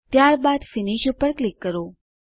ત્યારબાદ ફિનિશ પર ક્લિક કરો